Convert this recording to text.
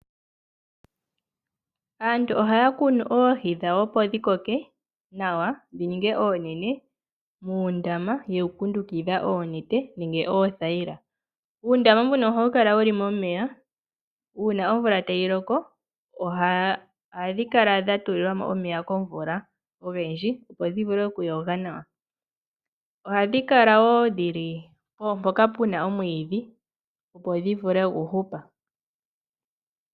Aantu ohaya kunu oohi dhawo opo dhikoke nawa dhininge oonene muundama yewukundukidha oonete nenge oothayila. Uundama mbuno ohawu kala wuli momeya, uuna omvula tayi loko ohadhi kala dhatulilwa mo omeya komvula ogendji opo dhivule okuyoga nawa. Ohadhi kala wo dhili mpoka puna omwiidhi opo dhivule okuhupa.